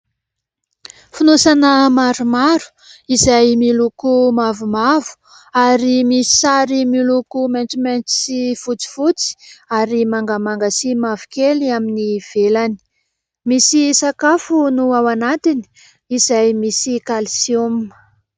Fonosana maromaro izay miloko mavomavo ary misy sary miloko maitsomaitso sy fotsifotsy ary mangamanga sy mavokely amin'ny ivelany. Misy sakafo no ao anatiny, izay misy kalsioma.